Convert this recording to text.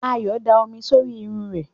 Ayọ̀ da omi sórí irun rẹ̀.